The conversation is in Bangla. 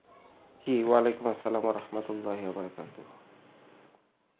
কি ওয়ালিকুম আসলাম আহমদুল্লা বারকতাহি.